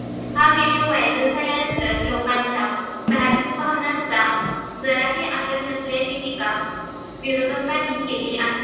हा video viral झाल्यानंतर लोकांच्या धार्मिक भावनांचा जराही आदर नसल्याची टीका विरोधकांनी केली आहे.